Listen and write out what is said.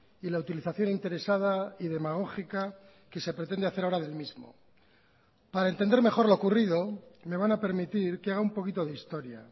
y la utilización interesada y demagógica que se pretende hacer ahora del mismo para entender mejor lo ocurrido me van a permitir que haga un poquito de historia